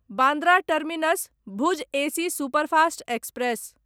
Bandra terminus Bhuj AC superfast express